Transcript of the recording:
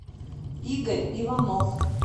игорь иванов